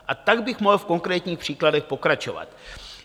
A tak bych mohl v konkrétních příkladech pokračovat.